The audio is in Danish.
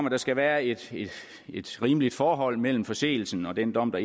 at der skal være et et rimeligt forhold mellem forseelsen og den dom der